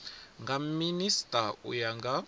nga minisita u ya nga